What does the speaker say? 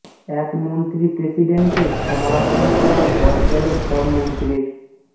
এক মন্ত্রী প্রেসিডেন্টের সমালোচনা করায় পদ গেল সব মন্ত্রীর